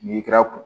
N'i kɛra kun